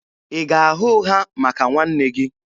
Ị ga-agha ụgha maka nwanne gị?